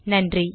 நன்றி